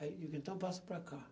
Aí eu digo, então passa para cá.